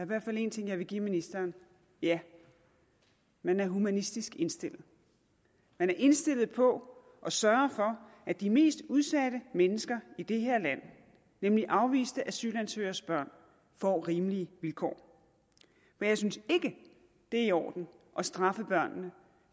hvert fald en ting jeg vil give ministeren ja man er humanistisk indstillet man er indstillet på at sørge for at de mest udsatte mennesker i det her land nemlig afviste asylansøgeres børn får rimelige vilkår men jeg synes ikke det er i orden at straffe børnene